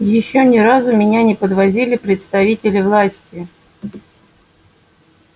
ещё ни разу меня не подвозили представители власти